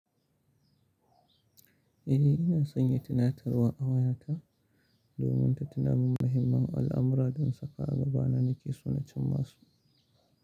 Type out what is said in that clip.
Eh ina sanya tina tarwa a wayata domin ta tunamin muhimman al'amura don saka a gaba na ni ke sunancin masu.